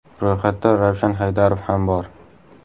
Ro‘yxatda Ravshan Haydarov ham bor.